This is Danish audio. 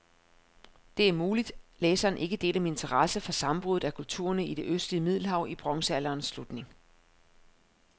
Det er muligt, læseren ikke deler min interesse for sammenbruddet af kulturerne i det østlige middelhav i bronzealderens slutning.